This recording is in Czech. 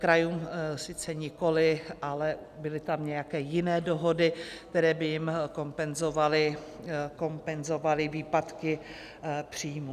Krajům sice nikoli, ale byly tam nějaké jiné dohody, které by jim kompenzovaly výpadky příjmů.